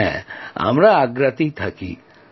হ্যাঁ আমরা আগ্রাতে থাকি